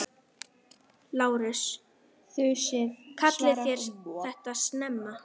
LÁRUS: Kallið þér þetta snemma?